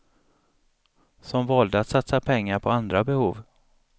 Som valde att satsa pengar på andra behov.